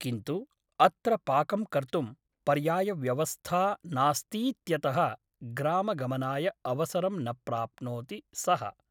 किन्तु अत्र पाकं कर्तुं पर्यायव्यवस्था नास्तीत्यतः ग्रामगमनाय अवसरं न प्राप्नोति सः ।